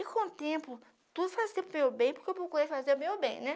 E, com o tempo, tudo fazia o meu bem, porque eu procurava fazer o meu bem, né?